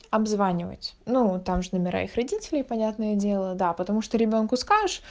обзванивать ну там же номера их родителей понятное дело да потому что ребёнку скажешь